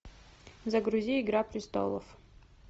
загрузи игра престолов